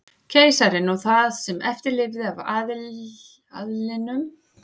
Keisarinn og það sem eftir lifði af aðlinum víetnamska gekk í lið með Frökkum.